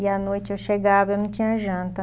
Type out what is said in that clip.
E à noite eu chegava eu não tinha janta.